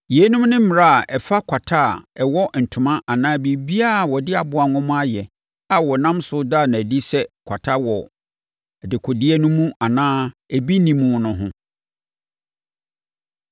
Yeinom ne mmara a ɛfa kwata a ɛwɔ ntoma anaa biribiara a wɔde aboa nwoma ayɛ a wɔnam so da no adi sɛ kwata wɔ dekodeɛ no mu anaa ebi nni mu no ho.